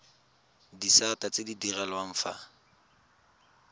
disata tse di direlwang fa